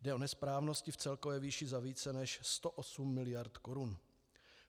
Jde o nesprávnosti v celkové výši za více než 108 miliard korun.